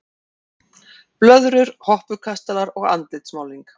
Blöðrur, hoppukastalar og andlitsmálning.